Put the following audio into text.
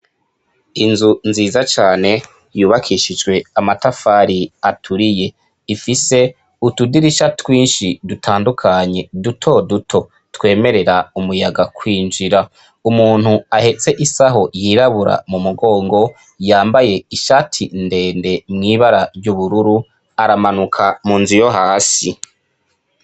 Inzu nziza cane yubakishijwe amatafari aturiye .Ifise utudirisha twinshi dutandukanye dutoduto twemerera umuyaga kwinjira . Umuntu ahetse isaho yirabura mumugongo ,yambaye ishati ndende mw' ibara ry' ubururu , aramanuka mu nzu yo hasi .